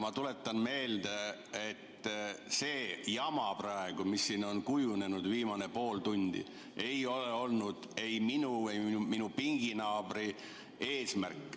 Ma tuletan meelde, et see jama praegu, mis siin on olnud viimased pool tundi, ei olnud ei minu ega minu pinginaabri eesmärk.